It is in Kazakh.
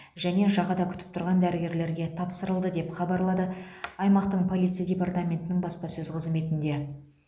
және жағада күтіп тұрған дәрігерлерге тапсырылды деп хабарлады аймақтың полиция департаментінің баспасөз қызметінде